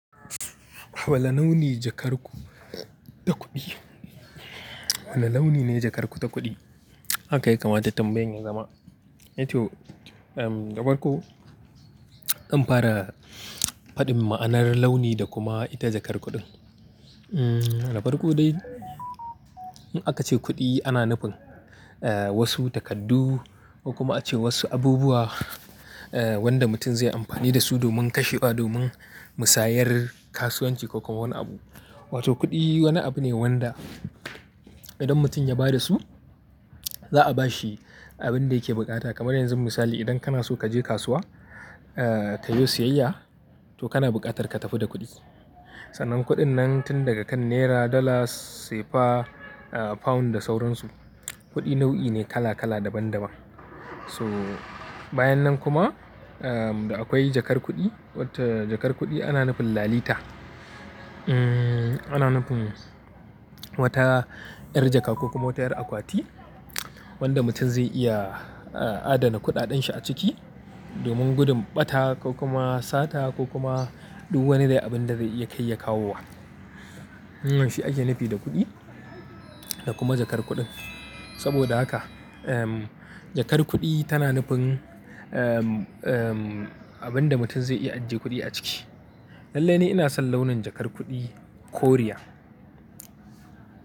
Wane launi jakar ku ta kuɗi? Wane launi ne jakar ku ta kuɗi? Haka ya kamata tambayan ya zama eh toh. Da farko zan fara faɗin ma'anar launi da kuma ita jakar kuɗin um. Labar ku dai in aka ce kuɗi ana nufin eh wasu takardu ko kuma ace wasu abubuwa wanda mutum zai yi amfani da su domin kashewa, domin musayar kasuwanci ko kuma wani abu. Wato kuɗi wani abu ne wanda idan mutum ya ba da su za a ba shi abin da yake buƙata. Kamar yanzu misali idan kana so ka je kasuwa ah ka yo siyayya to kana buƙatar ka tafi da kuɗi. Sannan kuɗin nan tun daga kan Naira, Dala, Cefa, ah, Pound da sauransu. Kuɗi nau'i ne kala kala daban daban. So bayan nan kuma akwai jakar kuɗi, wato jakar kuɗi ana nufin lalita. Ana nufin wata 'yar jaka ko kuma wata 'yar akwati wadda mutum zai iya a' adana kuɗaɗen shi a ciki domin gudun ɓata ko kuma sata ko kuma duk wani dai abin da zai iya kai ya kawo wa. Shi ake nufi da kuɗi da kuma jakar kuɗin. Saboda haka jakar kuɗi tana nufin abin da mutum zai iya ajiye kuɗi a ciki. Lallai ni ina son launin jakar kuɗi Koriya.